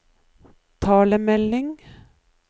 talemelding